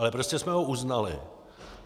Ale prostě jsme ho uznali.